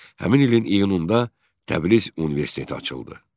Həmin ilin iyununda Təbriz Universiteti açıldı.